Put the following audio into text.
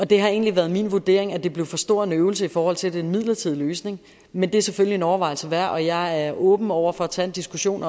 det har egentlig været min vurdering at det blev for stor en øvelse i forhold til at det er en midlertidig løsning men det er selvfølgelig en overvejelse værd og jeg er åben over for at tage en diskussion